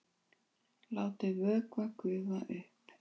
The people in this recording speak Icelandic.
Látið vökva gufa upp.